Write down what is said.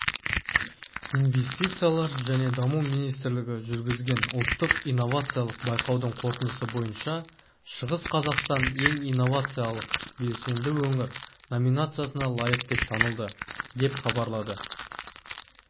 инвестициялар және даму министрлігі жүргізген ұлттық инновациялық байқаудың қорытындысы бойынша шығыс қазақстан ең инновациялық-белсенді өңір номинациясына лайық деп танылды деп хабарлады